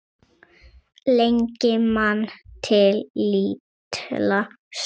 Lengi man til lítilla stunda